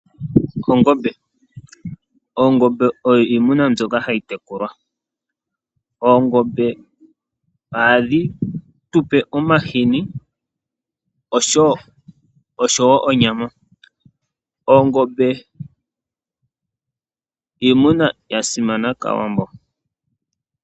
Ongombe. Oongombe odho iimuna mbyoka hayi tekulwa. Oongombe ohadhi tupe omahini oshowo onyama. Oongombe iimuna mbyoka yasimana kaawambo.